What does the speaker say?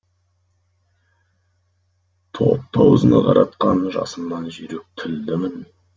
топты аузына қаратқан жасымнан жүйрік тілдімін